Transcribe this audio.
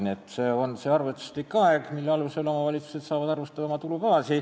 Nii et see on see arvestuslik aeg, mille alusel saavad omavalitsused oma tulubaasi arvestada.